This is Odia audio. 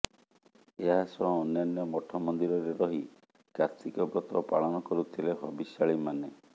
ଏହା ସହ ଅନ୍ୟାନ୍ୟ ମଠ ମନ୍ଦିରରେ ରହି କାର୍ତ୍ତିକ ବ୍ରତ ପାଳନ କରୁଥିଲେ ହବିଷ୍ୟାଳିମାନେ